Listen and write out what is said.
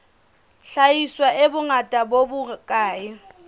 hlahiswa e bongata bo bokae